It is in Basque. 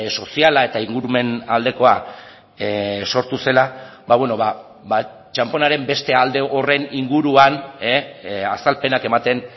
soziala eta ingurumen aldekoa sortu zela txanponaren beste alde horren inguruan azalpenak ematen